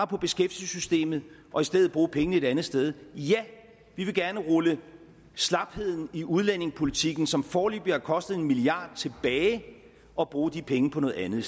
på beskæftigelsessystemet og i stedet bruge pengene et andet sted ja vi vil gerne rulle slapheden i udlændingepolitikken som foreløbig har kostet en milliard kr tilbage og bruge de penge på noget andet